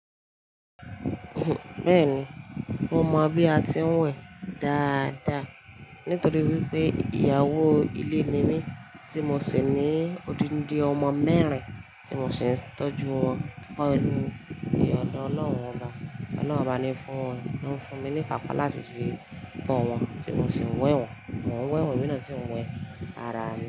Bẹ́ẹ̀ni, mọ mọ̀ bí a ti ń wẹ̀ dáadáa nítorí wípé ìyàwó ilé ni mí tí mo sì ní odindi ọmọ mẹ́rin tí mo sì ń tọ́jú wọn. Kíni ìyè ọ̀dọ̀ Ọlọ́run lọ, Ọlọ́run ọba ni fún wọn, ló ń fún mi ní ìpàkọ́ láti fi tọ́ wọn tí mo sì ń wẹ̀ wọ́n. Mo ń wẹ̀ wọ́n emi na si ń wẹ̀ ara mi.